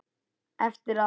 Eftir að